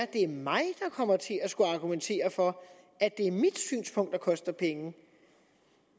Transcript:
det er mig der kommer til at skulle argumentere for at det er mit synspunkt der koster penge